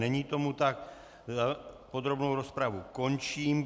Není tomu tak, podrobnou rozpravu končím.